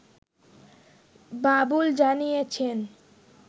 বাবুল জানিয়েছেন